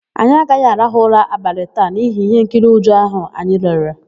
Anyị agaghị arahụ ụra abalị taa n'ihi íhénkiri ụjọ áhụ̀ anyị lere.